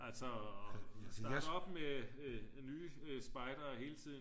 altså start op med nye spejdere hele tiden